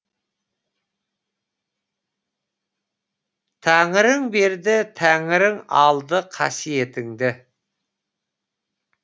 тәңірің берді тәңірің алды қасиетіңді